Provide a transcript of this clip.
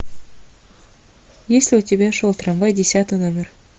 есть ли у тебя шел трамвай десятый номер